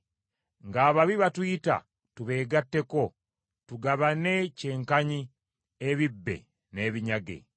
ng’ababi batuyita tubeegatteko, tugabane kyenkanyi ebibbe n’ebinyage.”